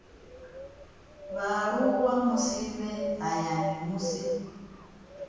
vhaaluwa musi vhe hayani musi